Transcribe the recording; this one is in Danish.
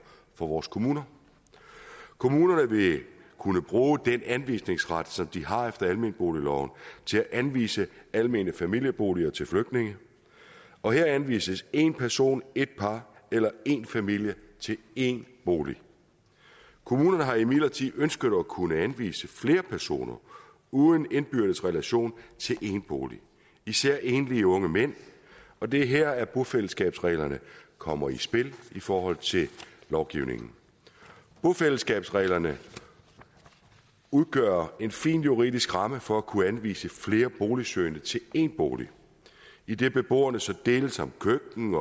for vores kommuner kommunerne vil kunne bruge den anvisningsret som de har efter almenboligloven til at anvise almene familieboliger til flygtninge og her anvises én person ét par eller én familie til én bolig kommunerne har imidlertid ønsket at kunne anvise flere personer uden indbyrdes relation til én bolig især enlige unge mænd og det er her bofællesskabsreglerne kommer i spil i forhold til lovgivningen bofællesskabsreglerne udgør en fin juridisk ramme for at kunne anvise flere boligsøgende til én bolig idet beboerne så deles om køkken